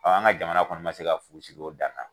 an ga jamana kɔni ma se ka fu siri o dan na